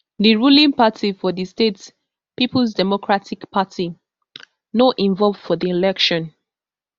di ruling party for di state peoples democratic party no involve for di election